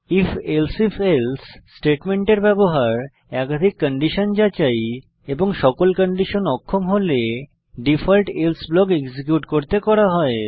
if elsif else স্টেটমেন্টের ব্যবহার একাধিক কন্ডিশন যাচাই এবং সকল কন্ডিশন অক্ষম হলে ডিফল্ট এলসে ব্লক এক্সিকিউট করতে করা হয়